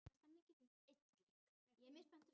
Theodór, stilltu tímamælinn á þrjátíu mínútur.